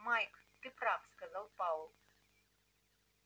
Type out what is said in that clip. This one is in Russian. майк ты прав сказал пауэлл